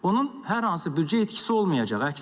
Onun hər hansı büdcə itkisi olmayacaq, əksinə.